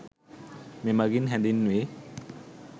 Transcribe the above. මෙමගින් හැඳින්වේ.